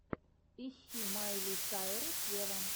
ищи майли сайрус вево